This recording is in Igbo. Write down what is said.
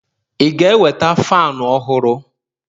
ị ga-eweta fanu ọhụrụ?